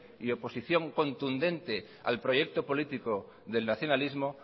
y oposición contundente al proyecto político del nacionalismo